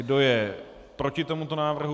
Kdo je proti tomuto návrhu?